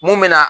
Mun bɛ na